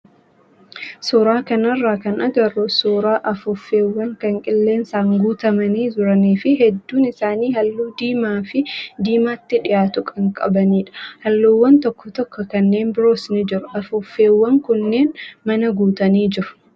Suuraa kanarraa kan agarru suuraa afuuffeewwan kan qilleensaan guutamanii jiranii fi hedduun isaanii halluu diimaa fi diimaatti dhiyaatu kan qabanidha. Halluuwwan tokko tokko kanneen biroos ni jiru. Afuuffeewwan kunneen mana guutanii jiru.